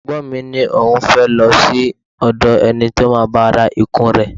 Ẹ̀gbọ́n mi ní òun fẹ́ lọ sí òdò ẹni tí ó máa bá òun ra ikùn rẹ̀.